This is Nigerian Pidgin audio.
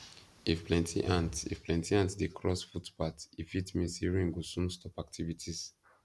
if plenty ants if plenty ants dey cross footpath e fit mean say rain go soon stop activities